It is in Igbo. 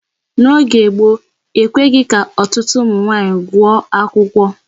N'oge gboo, ekweghị ka ọtụtụ ụmụ nwaanyị gụọ akwụkwọ.